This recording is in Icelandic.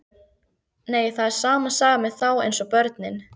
Nei, það er sama sagan með þá eins og börnin.